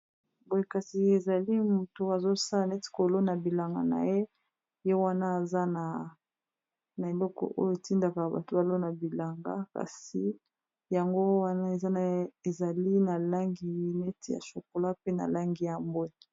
Boye kasi ezali moto azosala neti kolo na bilanga na ye ye wana eza na na eloko oyo etindaka bato balo na bilanga kasi yango wana eza naye ezali na langi neti ya chokola pe na langi yambwe